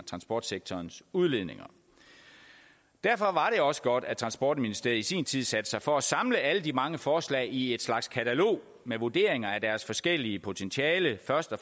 transportsektorens udledninger derfor var det også godt at transportministeriet i sin tid satte sig for at samle alle de mange forslag i et slags katalog med vurderinger af deres forskellige potentialer først og